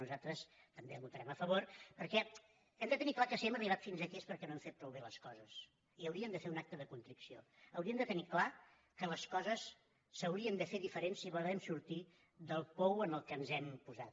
nosaltres també hi votarem a favor perquè hem de tenir clar que si hem arribat fins aquí és perquè no hem fet prou bé les coses i hauríem de fer un acte de contrició hauríem de tenir clar que les coses s’haurien de fer diferent si volem sortir del pou en què ens hem posat